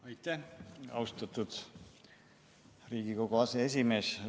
Aitäh, austatud riigikogu aseesimees!